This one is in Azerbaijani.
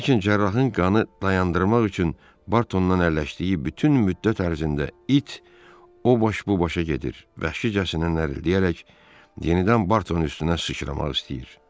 Lakin cərrahın qanı dayandırmaq üçün Bartondan əlləşdiyi bütün müddət ərzində it o boş bubaşa gedir, vəhşicəsinə nərildəyərək yenidən Bartonun üstünə sıçramaq istəyir.